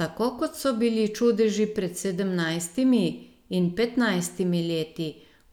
Tako kot so bili čudeži pred sedemnajstimi in petnajstimi leti,